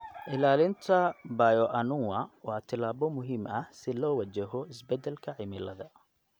Ilaalinta bioanuwa waa tallaabo muhiim ah si loo wajaho isbedelka cimilada.